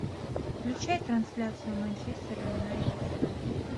включай трансляцию манчестер юнайтед брайтон